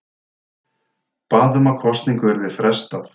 Bað um að kosningu yrði frestað